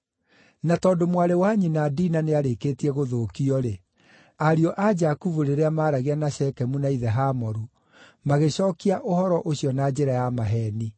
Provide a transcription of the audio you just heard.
Na tondũ mwarĩ wa nyina Dina nĩarĩkĩtie gũthũkio-rĩ, ariũ a Jakubu rĩrĩa maaragia na Shekemu na ithe Hamoru, magĩcookia ũhoro ũcio na njĩra ya maheeni.